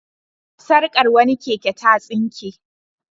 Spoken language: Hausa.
Sarkar wani keke ta tsinke.